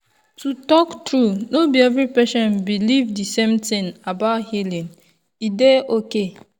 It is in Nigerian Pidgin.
to talk true no be every patient believe the same thing about healing e dey okay.